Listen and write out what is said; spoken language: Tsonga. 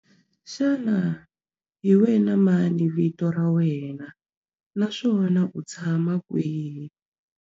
Xana hi wena mani vito ra wena naswona u tshama kwihi?